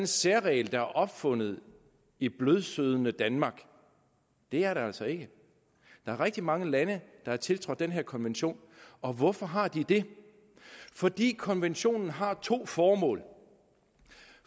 særregel der er opfundet i blødsødne danmark det er det altså ikke der er rigtig mange lande der har tiltrådt den her konvention og hvorfor har de det fordi konventionen har to formål